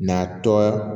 Na tɔ